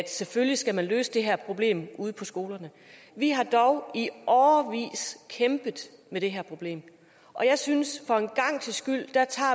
selvfølgelig skal løse det her problem ude på skolerne vi har dog i årevis kæmpet med det her problem og jeg synes